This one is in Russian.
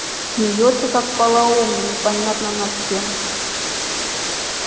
смеётся как полоумный непонятно над чем